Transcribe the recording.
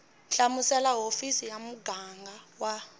hlamusela hofisi ya muganga wa